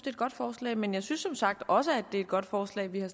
et godt forslag men jeg synes som sagt også det er et godt forslag vi har